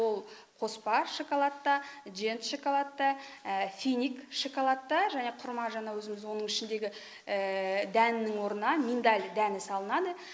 ол қоспа шоколадта жент шоколадта финик шоколадта және құрма жаңағы өзіміздің оның ішіндегі дәнінің орнына миндаль дәні салынады